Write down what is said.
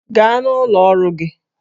Gaa n'ụlọ ọrụ gị!